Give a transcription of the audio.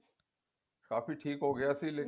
ਕਾਫੀ ਠੀਕ ਹੋਗਿਆ